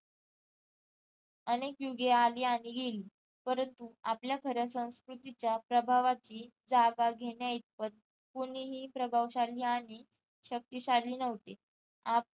अनेक युगे आली आणि गेली परंतु आपल्या खऱ्या संस्कृतीच्या प्रभावाची जागा घेण्या इतपत कुणीही प्रभावशाली आणि शक्तिशाली नव्हते आपल्या